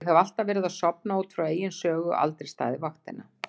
Ég hef alltaf verið að sofna út frá eigin sögu, aldrei staðið vaktina.